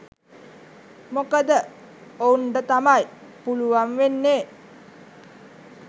මොකද ඔවුන්ට තමයි පුළුවන් වෙන්නේ